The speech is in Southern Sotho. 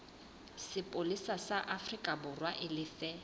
sepolesa sa aforikaborwa e lefe